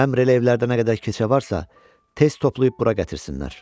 Əmr elə, evlərdə nə qədər keçə varsa, tez toplayıb bura gətirsinlər.